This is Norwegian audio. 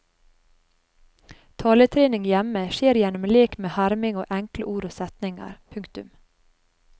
Taletrening hjemme skjer gjennom lek med herming av enkle ord og setninger. punktum